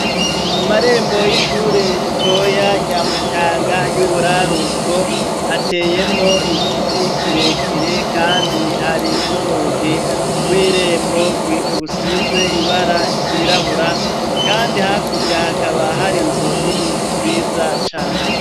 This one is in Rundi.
Mu marembo y'ishure ritoya ryamutanga y'uburaruko hateyemwo igiti kirekire, kandi hari n'urugi rw'irembo rusize ibara ryirabura, kandi hakurya hakaba hari nzu nini nziza cane.